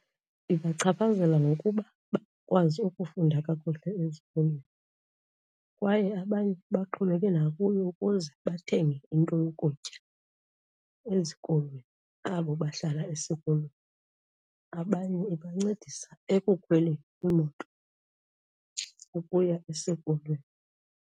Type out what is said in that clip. Ibachaphazela ngokuba bakwazi ukufunda kakuhle ezikolweni kwaye abanye baxhomekeke nakuyo ukuze bathenge into yokutya ezikolweni, abo bahlala esikolweni. Abanye ibancedisa ekukhweleni iimoto ukuya esikolweni.